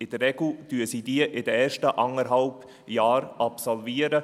In der Regel absolvieren sie diese in den ersten eineinhalb Jahren.